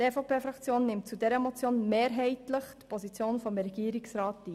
Die EVP-Fraktion nimmt zu dieser Motion mehrheitlich die Position des Regierungsrats ein.